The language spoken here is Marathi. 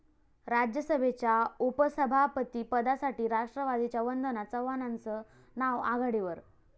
राज्यसभेच्या उपसभापतीपदासाठी राष्ट्रवादीच्या वंदना चव्हाणांचं नाव आघाडीवर